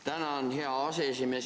Tänan, hea aseesimees!